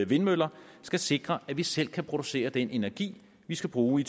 vindmøller skal sikre at vi selv kan producere den energi vi skal bruge i